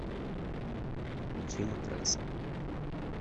включи матраса